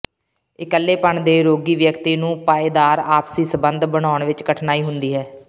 ਇਕੱਲੇਪਣ ਦੇ ਰੋਗੀ ਵਿਅਕਤੀ ਨੂੰ ਪਾਏਦਾਰ ਆਪਸੀ ਸੰਬੰਧ ਬਣਾਉਣ ਵਿੱਚ ਕਠਿਨਾਈ ਹੁੰਦੀ ਹੈ